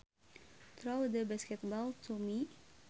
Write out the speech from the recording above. Throw the basketball to me